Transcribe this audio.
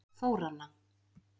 Þóranna